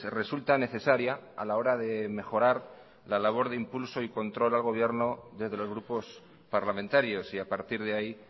resulta necesaria a la hora de mejorar la labor de impulso y control al gobierno desde los grupos parlamentarios y a partir de ahí